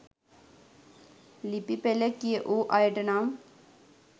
ලිපි පෙළ කියවූ අයට නම්